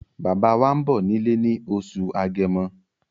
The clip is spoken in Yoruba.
Bàbá wá ń bọ̀ nílé ní oṣù agẹmo